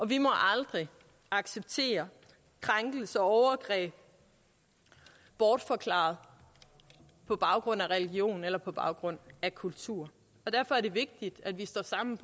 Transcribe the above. vi må aldrig acceptere krænkelser og overgreb bortforklaret på baggrund af religion eller på baggrund af kultur derfor er det vigtigt at vi står sammen